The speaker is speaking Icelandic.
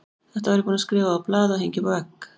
Þetta var ég búinn að skrifa á blað og hengja upp á vegg.